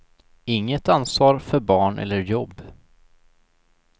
Inget ansvar för barn eller jobb.